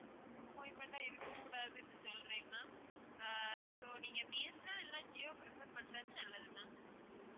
disappointment ஆ இருக்கக்கூடாதுன்னு சொல்றேன் ma'am so நீங்க பி. எஸ். என். எல் இல்லாட்டி ஜியோ prefer பண்ணுறது நல்லது ma'am